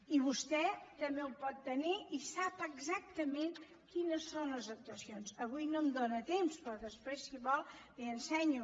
i vostè també ho pot tenir i sap exactament quines són les actuacions avui no tinc temps però després si vol li ho ensenyo